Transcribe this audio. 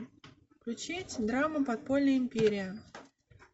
включить драма подпольная империя